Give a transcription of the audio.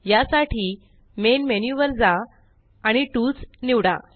या साठी main menu वर जा आणि टूल्स निवडा